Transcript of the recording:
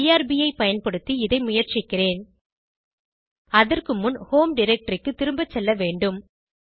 IRB ஐ பயன்படுத்தி இதை முயற்சிக்கிறேன் அதற்கு முன் ஹோம் டைரக்டரி க்கு திரும்ப செல்ல வேண்டும்